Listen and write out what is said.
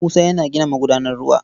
Musa yana gina magudanar ruwa.